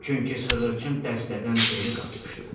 Çünki sığırçın dəstədən geri qalmışdı.